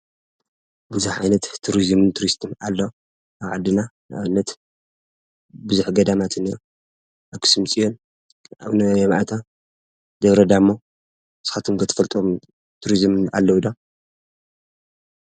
ብዙሕ ዓይነት ቱሪዝም አሎ። አብ ዓድና ንአብነት ብዙሕ ገዳማት እኒሆ አክሱም ፅዮን፣ አቡነ ይምአታ፣ ደብረዳሞ ንስኩምከ ትፈልጥዎ ቱሪዝም አለዉዶ?